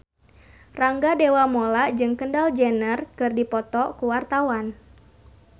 Rangga Dewamoela jeung Kendall Jenner keur dipoto ku wartawan